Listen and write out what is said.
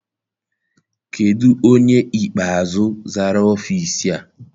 Kedụ onye ikpeazụ zara ọfịịsi a?